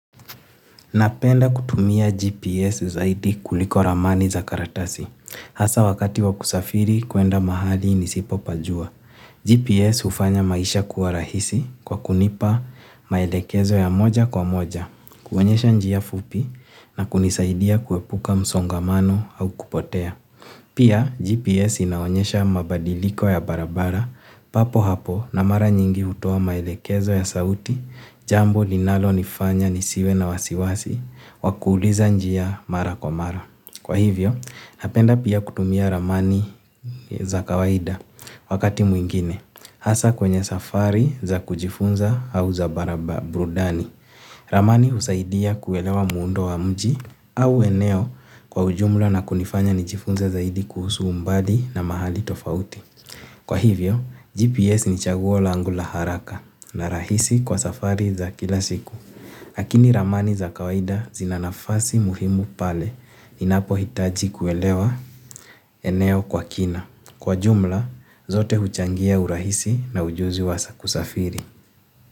Napenda kutumia GPS zaidi kuliko ramani za karatasi. Hasa wakati wa kusafiri kuenda mahali nisipopajua GPS hufanya maisha kuwa rahisi kwa kunipa maelekezo ya moja kwa moja. Kuonyesha njia fupi na kunisaidia kuepuka msongamano au kupotea. Pia GPS inaonyesha mabadiliko ya barabara papo hapo na mara nyingi hutoa maelekezo ya sauti. Jambo linalonifanya nisiwe na wasiwasi wa kuuliza njia mara kwa mara. Kwa hivyo, napenda pia kutumia ramani za kawaida. Wakati mwingine hasa kwenye safari za kujifunza au za baraba burudani. Ramani husaidia kuelewa muundo wa mji au eneo kwa ujumla na kunifanya nijifunze zaidi kuhusu umbali na mahali tofauti. Kwa hivyo, GPS ni chaguo langu la haraka na rahisi kwa safari za kila siku lakini ramani za kawaida zina nafasi muhimu pale ninapohitaji kuelewa eneo kwa kina. Kwa jumla, zote huchangia urahisi na ujuzi wasa kusafiri.